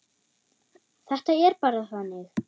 Þetta er bara þannig.